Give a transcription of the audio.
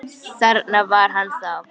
Þarna var hann þá!